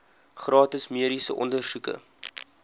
gratis mediese ondersoeke